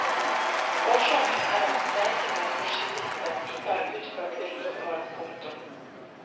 Årsaken er at streikende maskinister ikke har utført vedlikehold. punktum